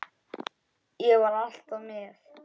Ég var alltaf með.